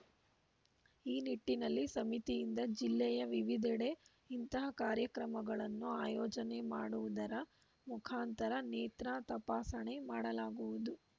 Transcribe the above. ಈ ನಿಟ್ಟಿನಲ್ಲಿ ಸಮಿತಿಯಿಂದ ಜಿಲ್ಲೆಯ ವಿವಿಧೆಡೆ ಇಂತಹ ಕಾರ್ಯಕ್ರಮಗಳನ್ನು ಆಯೋಜನೆ ಮಾಡುವುದರ ಮುಖಾಂತರ ನೇತ್ರಾ ತಪಾಸಣೆ ಮಾಡಲಾಗುವುದು